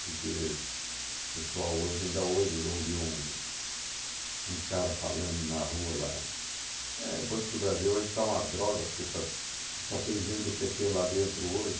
Porque o pessoal hoje ainda hoje ouviu um um cara falando na rua lá, é o Banco do Brasil hoje está uma droga, porque para, só tem gênero do pê tê lá dentro hoje.